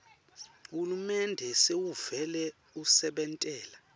hulumende sewuvele usebentela